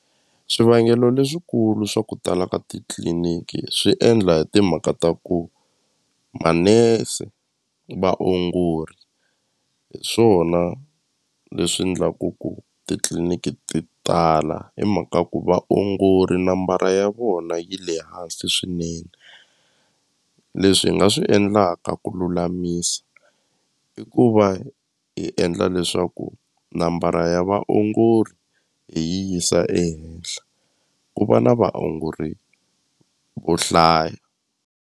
Swivangelo leswikulu swa ku tala ka titliliniki swi endla hi timhaka ta ku manese vaongori hi swona leswi ndlaku ku titliliniki ti tala hi mhaka ku vaongori nambara ya vona yi le hansi swinene leswi hi nga swi endlaka ku lulamisa i ku va hi endla leswaku nambara ya vaongori hi yi yisa ehenhla ku va na vaongori vo hlaya.